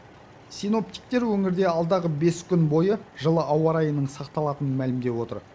синоптиктер өңірде алдағы бес күн бойы жылы ауа райының сақталатынын мәлімдеп отыр